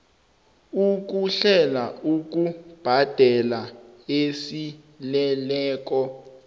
ukuhlela ukubhadela esaleleko